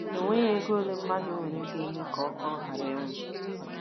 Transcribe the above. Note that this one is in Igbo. E nweghị ego ole mmadụ nwere ga - eme ka ọ ka ọ ghara ịnwụ.